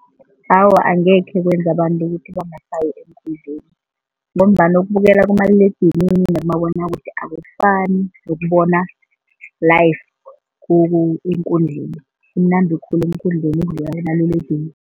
Awa, angekhe kwenza abantu ukuthi bangasayi eenkundleni ngombana ukubukela kumaliledinini nomabonwakude akufani nokubona live eenkundleni kumnandi khulu eenkundleni ukudlula kumaliledinini.